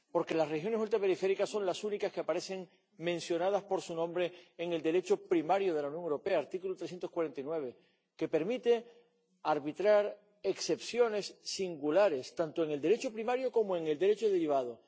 Porque las regiones ultraperiféricas son las únicas que aparecen mencionadas por su nombre en el Derecho primario de la Unión Europea, en el artículo 349 del TFUE, que permite arbitrar excepciones singulares tanto en el Derecho primario como en el Derecho derivado.